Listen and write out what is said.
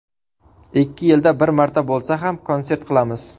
Ikki yilda bir marta bo‘lsa ham konsert qilamiz.